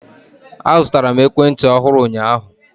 Azụtara m ekwentị ọhụrụ ụnyaahụ.